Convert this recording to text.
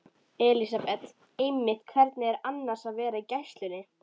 Elísabet: Einmitt, hvernig er annars að vera í gæslunni?